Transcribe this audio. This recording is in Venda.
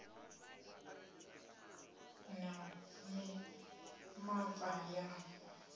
ya ṱhoḓisiso na mimapa ya